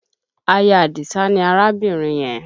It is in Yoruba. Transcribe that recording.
Aya Àdìsá ni arábìnrin yẹn